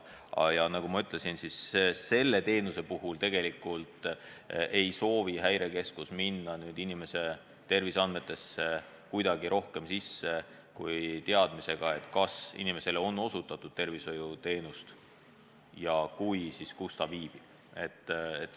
Ja nagu ma ütlesin, selle teenuse puhul ei soovi Häirekeskus minna inimese terviseandmetesse kuidagi rohkem sisse kui teada saada, kas inimesele on osutatud teatud tervishoiuteenust, ja kui on, siis kus ta viibib.